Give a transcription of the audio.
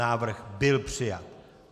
Návrh byl přijat.